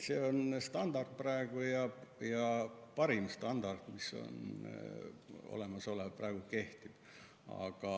See standard, mis meil praegu kehtib, on parim standard olemasolevatest.